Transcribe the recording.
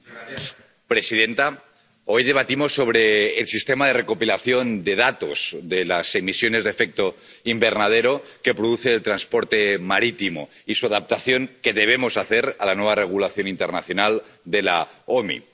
Señora presidenta, hoy debatimos sobre el sistema de recopilación de datos de las emisiones de efecto invernadero que produce el transporte marítimo y sobre su adaptación —que debemos hacer— a la nueva regulación internacional de la OMI.